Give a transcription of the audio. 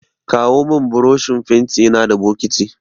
Kawo min burushin fentina da bokiti.